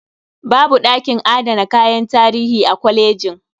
Babu ɗakin adana kayan tarihi a kolejin.